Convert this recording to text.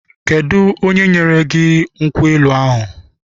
Kedụ onye nyere gị nkwụ elu ahụ?